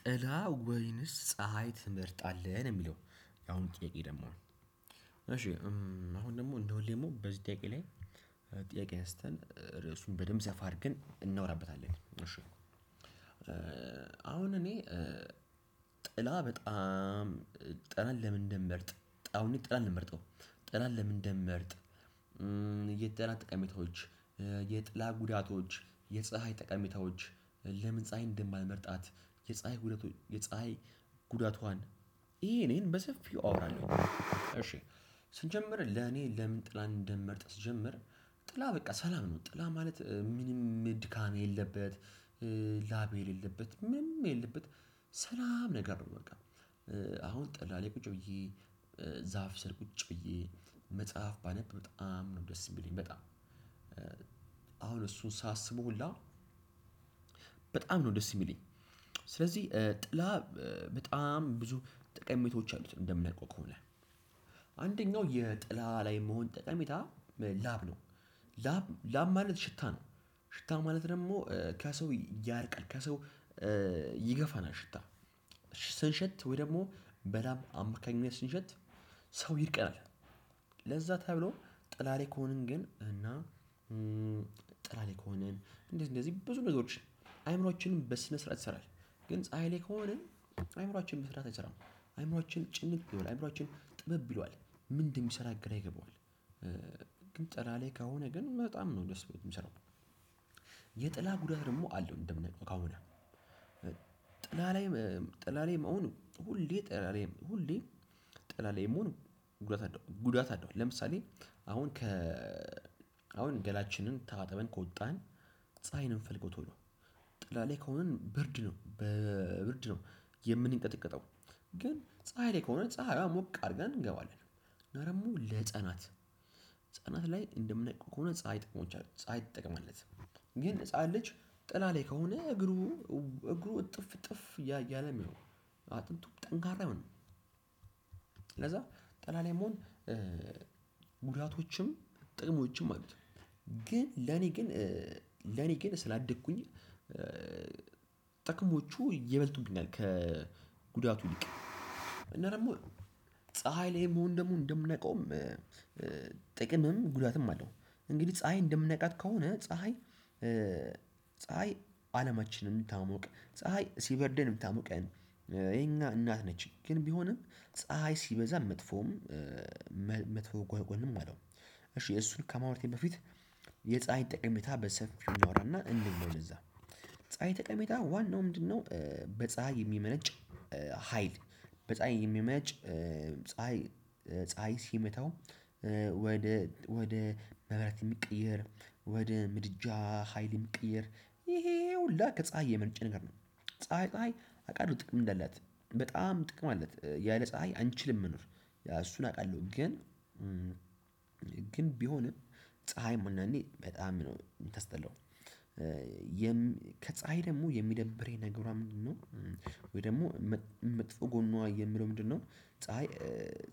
ጥላ ወይንስ ፀሀይ ትመርጣለህ ነው የሚለው? የአሁኑ ጥያቄ ደግሞ እሺ አሁን ደግሞ እንደሁለም ደግሞ በዚህ ጥያቄ ላይ ጥያቄ አንስተን ርዕሱን በደንብ ሰፋ አድርገን እናወራበታለን። አሁን እኔ ጥላ በጣም ጥላን ለምን እንደምመርጥ አሁን ጠላን ነው ምመርጠው ጠላን ለምን እንደምመርጥ የጠላ ተቀሜታዎች የጥላ ጉዳቶች የፀሀይ ጠቀሜታዎች ለምን ፀሀይን እንደማልመርጣት። የፀሀይ ጉዳቱዋን ይህን ያህን በሰፊው አወራለሁኝ። ስጀምር ለኔ ለምን ጥላ እንደምመርጥ ስጀምር ጥላ በቃ ሰላም ነው ጥላ ማለት ምንም ድካም የሌለበት ላብ የሌለበት ምንም የሌለበት ሰላም ነገር ነው። በቃ አሁን ጥላላይ ቁጭ ብዬ ዛፍ ሰር ቁጭ ብዬ መጽሐፍ ባነብ በጣም ነው ደስ የሚለኝ በጣም እሱን ሳስበው ሁላ በጣም ነው ደስ የሚለኝ። ስለዚህ ጥላ በጣም ብዙ ጠቀሜቶች አሉት እንደምናቀው ከሆነ። አንደኛው የጥላ ላይ መሆን ጠቀሜታ ላብ ነው። ላብ ማለት ሽታ ነው። ሽታ ማለት ደግሞ ከሰው ያርቃል ከሰው ይገፋናል። ሽታ ስንሸት ወይ ደግሞ በላብ አማካኝነት ስንሸት ሰው ይርቀናል። ለዛ ተብሎ ጥላላይ ከሆንን ግን እና ጥላ ላይ ከሆንን እንደዚህ እንደዚህ ብዙ ነገሮች አይምሮአችን በስነ ስርዓት ይሰራል። ግን ፀሀይ ላይ አእምሮአችን በስራት አይሰራም። አእምሮአችን ጭንቅ አእምሮአችን ጥበብ ይሏል ምን እንደሚሰራ ግራ ይገባዋል። ግን ጥላ ላይ ከሆነ ግን በጣም ነው ደስ የሚሰራው። የጥላ ጉዳት ደግሞ አለው እንደምን ከሆነ። ጥላ ላይም ጥላ ላይም አሁን ሁሌ ጥላ ላይም ሁሌ ጠላላይ መሆን ጉዳት አለው ጉዳት አለው። ለምሳሌ አሁን ከ አሁን ገላችንን ታጥበን ከወጣን ፀሀይን እንፈልገው ቶሎ ጥላላይ ከሆነን ብርድ ነው በብርድ ነው የምንቀጥቀጠው። ግን ፀሀይ ላይ ከሆነ ፀሀይን ሞቅ አድርገን እንገባለን። እና ደግሞ ለህፃናት ህፃናት ላይ እንደምናውቀው ከሆነ ፀሀይ ጥቅም አላት። ግን ህፃን ልጅ ጥላ ላይ ከሆነ እግሩ እጥፍ እጥፍ እያለ አጥንቱም ጠንካራ አይሆንም። ለዛ ጥላ ላይ መሆን ጉዳቶችም ጥቅሞችም አሉት። ግን ለነ ግን ስላደኩኝ ጥቅሞቹ ይበልጡብኛል ከጉዳቱ ይልቅ እና ደግሞ ፀሀይ ላይ መሆን ደግሞ እንደምናውቀውም ጉዳትም አለው። እንግዲህ ፀሀይ እንደምናቃት ከሆነ ፀሀይ ፀሀይ አለማችንን ምታሞቅ ፀሀይ ሲበርደን የምታሞቀን የኛ እናት ነች ግን ቢሆንም ፀሀይ ሲበዛ መጥፎም መጥፎ ጎንም አለው። እሺ እሱን ከማውራቴ በፊት የፀሀይ ጠቀሜታ በሰፊው እናወራና እና እንለፍ ወደዛ ፀሀይ ጠቀሜታ ዋናው ምንድነው በፀሀይ የሚመነጭ? ሀይል በፀሀይ የሚመነጭ ፀሀይ ፀሀይ ሲመታው ወደ ማብራት የሚቀየር ወደ ምድጃ ሀይል የሚቀየር ይሄ ይሄ ሁሉ ከፀሀይ የመነጨ ነገር ነው። ፀሀይ ፀሀይ አውቃለሁ ጥቅም እንዳላት በጣም ጥቅም አላት ያለ ፀሀይ አንችልም መኖር ያ እሱን አውቃለሁ ግን። ግን ቢሆንም ፀሀይ አንዳንዴ በጣም ነው የምታስጠላው። ከፀሀይ ደግሞ የሚደብረኝ ነገሯ ምንድነው? ወይ ደግሞ መጥፎ ጎኑዋ የሚለው ምንድነው? ፀሀይ